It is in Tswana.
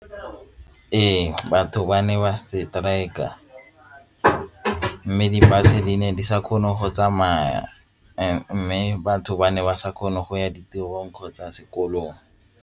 Ee, batho ba ne ba strike a mme di-bus-e di sa kgone go tsamaya mme batho ba ne ba sa kgone go ya ditirong kgotsa sekolong.